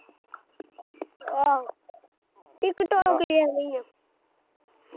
ਆਹੋ tiktok talk ਵੀ ਏਵੇਂ ਹੀ ਆ।